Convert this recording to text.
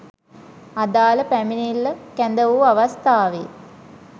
අදාළ පැමිණිල්ල කැඳවු අවස්ථාවේ